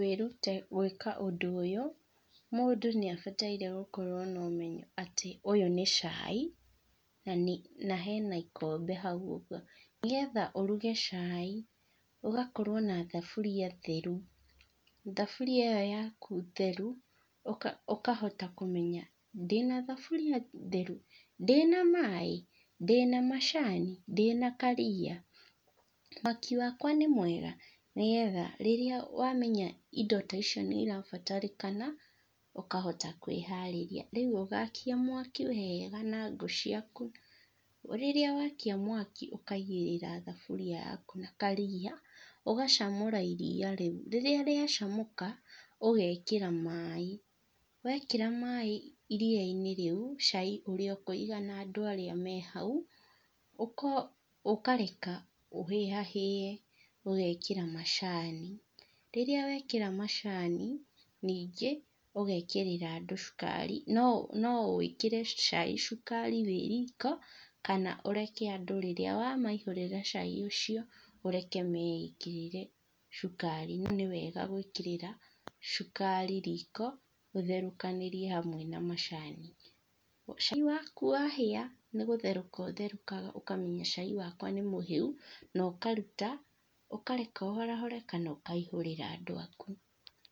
Kwĩruta gwĩka ũndũ ũyũ, mũndũ nĩabataire gũkorwo na ũmenyo atĩ ũyũ nĩ cai, nanĩ na hena ikombe hau ũguo, nĩgetha ũruge cai, ũgakorwo na thaburia theru, thaburia ĩyo yaku theru, ũka ũkahota kũmenya ndĩna thaburia theru? ndina maĩ? ndĩna macani? ndĩna kariia? mwaki wakwa nĩ mwega? nĩgetha rĩrĩa wamenya indo ta icio nĩ irabatarĩkana, ũkahota kwĩharĩrĩa, rĩũ ũgakia mwaki wega, na ngũ ciaku, rĩrĩa wakia mwaki, ũkaigĩrĩra thaburia yaku na kariia, ũgacamũra iriia rĩu rĩrĩa rĩacamũka, ũgekĩra maĩ. Wekĩra maĩ iriiainĩ rĩũ, cai ũrĩa ũkũigana andũ arĩa me hau, ũko akareka ũhĩa hĩe, ũgekĩra macani, rĩrĩa wekĩra macani, nĩngĩ, ũgekĩrĩra andũ cukari, no no wĩkĩre cai cukari wĩ riko, kana ũreke andũ rĩrĩa wamaihũrĩra cai ũcio, ũreke meĩkĩrĩre cukari, no nĩwega gwĩkĩrĩra cukari riko, ũtherũkanĩrie hamwe na macani. Cai waku wahĩa, nĩgũtherũka ũtherũkaga ũkamenya cai wakwa nĩmũhĩu, na ũkaruta, ũkareka ũhorahore, kana ũkaihũrĩra andũ aku.